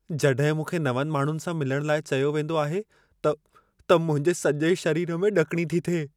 जॾहिं मूंखे नवनि माण्हुनि सां मिलण लाइ चयो वेंदो आहे, त त मुंहिंजे सजे॒ शरीर में ड॒किणी थी थिए।